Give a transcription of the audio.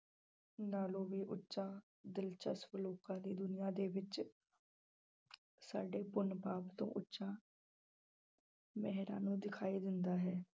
ਨਾਲੋਂ ਵੀ ਉੱਚਾ ਦਿਲਚਸਪ ਲੋਕਾਂ ਦੀ ਦੁਨੀਆਂ ਦੇ ਵਿੱਚ ਸਾਡੇ ਪੁੰਨ ਪਾਪ ਤੋਂ ਉੱਚਾ ਨੂੰ ਦਿਖਾਈ ਦਿੰਦਾ ਹੈ।